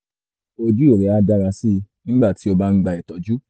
ojú rẹ á dára sí i nígbà tí o bá ń gba ìtọ́jú